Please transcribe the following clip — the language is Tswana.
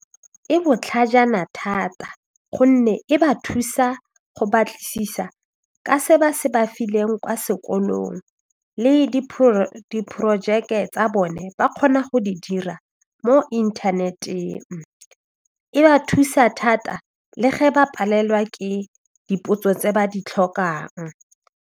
E botlhajana thata gonne e ba thusa go batlisisa ka se ba se ba fileng kwa sekolong le diporojeke tsa bone ba kgona go di dira mo inthaneteng, e ba thusa thata le ge ba palelwa ke dipotso tse ba di tlhokang.